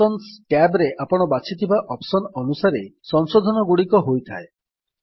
options tab ରେ ଆପଣ ବାଛିଥିବା ଅପ୍ସନ୍ ଅନୁସାରେ ସଂଶୋଧନଗୁଡିକ ହୋଇଥାଏ